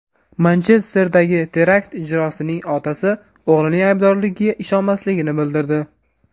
Manchesterdagi terakt ijrochisining otasi o‘g‘lining aybdorligiga ishonmasligini bildirdi.